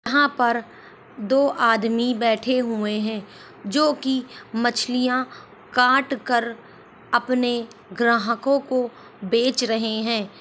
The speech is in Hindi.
यहाँ पर दो आदमी बैठे हुए हैं जो कि मछलियाँ काटकर अपने ग्राहकों को बेच रहे हैं।